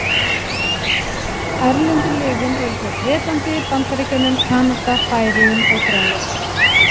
Erlendu liðin eru frá Bretlandi, Bandaríkjunum, Kanada, Færeyjum og Grænlandi.